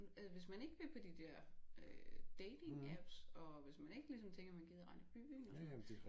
Altså hvis man ikke vil på de der øh datingapps og hvis man ikke ligesom tænker man gider rende i byen og sådan noget